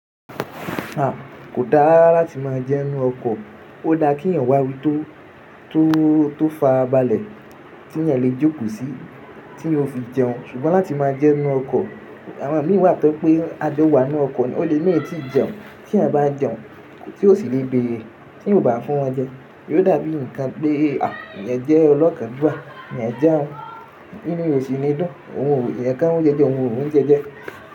A! Ko da rara rara lati ma jeun nu oko. O da ki eeyan wa ibi to to to fara bale ti eeyan le joko si ti eeyan o fi jeun. Sugbon lati ma jeun nu oko, awon mi wa to pe a jo wa nu oko ni o le ma i ti jeun. Ti eeyan ba jeun ti o si le bere ti eeyan ba fun won je. Yio da bi nkan pe a! E je olokan juwa eeyan jeun. Inu rẹ o si ni dun. Ohun o ye ka oun jeje oun o ri jeje.